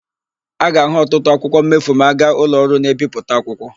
A ga-ahụ ọtụtụ akwụkwọ mmefu ma aga ụlọọrụ na-ebipụta akwụkwọ.